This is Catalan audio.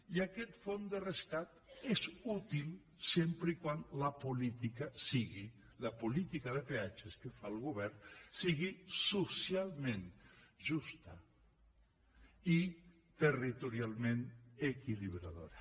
i aquest fons de rescat és útil sempre que la política de peatges que faci el govern sigui socialment justa i territorialment equilibradora